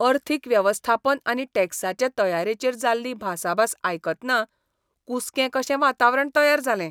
अर्थीक वेवस्थापन आनी टॅक्साचे तयारेचेर जाल्ली भासाभास आयकतना कुसकें कशें वातावरण तयार जालें.